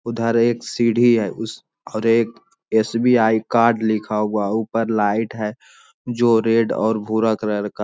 उधर एक सीढ़ी है उस पर एक एस.बी.आई. कार्ड लिखा हुआ ऊपर लाइट है जो रेड और भूरा कलर का --